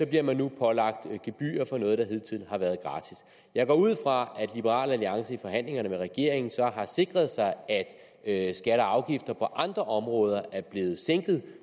bliver man nu pålagt gebyrer for noget der hidtil har været gratis jeg går ud fra at liberal alliance i forhandlingerne med regeringen så har sikret sig at skatter og afgifter på andre områder er blevet sænket